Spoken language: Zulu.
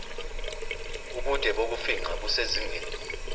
ubude bokufingqa busezingeni